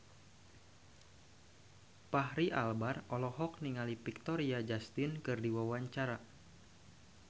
Fachri Albar olohok ningali Victoria Justice keur diwawancara